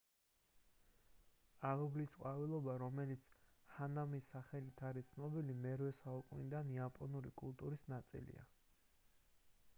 ალუბლის ყვავილობა რომელიც ჰანამის სახელით არის ცნობილი მე-8 საუკუნიდან იაპონური კულტურის ნაწილია